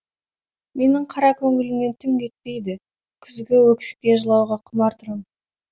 менің қара көңілімнен түн кетпейді күзгі өксіктен жылауға құмар тұрам